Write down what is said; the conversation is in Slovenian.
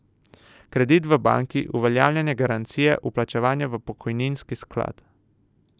Kredit v banki, uveljavljanje garancije, vplačevanje v pokojninski sklad...